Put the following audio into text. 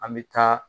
An bɛ taa